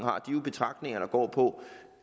betragtninger der går på